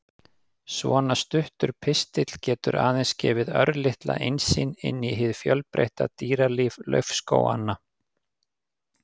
Svona stuttur pistill getur aðeins gefið örlitla innsýn inn í hið fjölbreytta dýralíf laufskóganna.